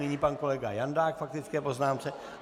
Nyní pan kolega Jandák k faktické poznámce.